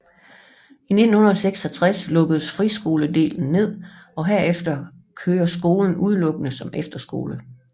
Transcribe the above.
I 1966 lukkes friskoledelen ned og herefter kører skolen udelukkende som efterskole